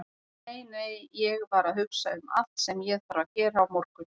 Nei, nei, ég var að hugsa um allt sem ég þarf að gera á morgun.